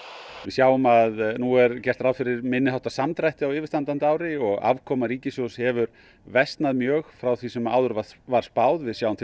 við sjáum að nú er gert ráð fyrir minniháttar samdrætti á yfirstandandi ári og afkoma ríkissjóðs hefur versnað mjög frá því sem áður var var spáð við sjáum